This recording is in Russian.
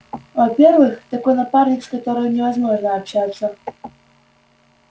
во-первых такой напарник с которым невозможно общаться